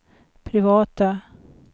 privata